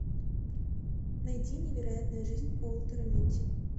найди невероятная жизнь уолтера митти